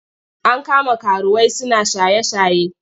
An kama karuwai suna shaye-shaye.